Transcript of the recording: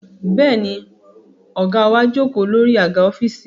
Bẹ́ẹ̀ ni, ọ̀gá wa jókòó lórí àga ọ́fíìsì